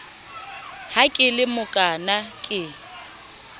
ha ke le mokaana ke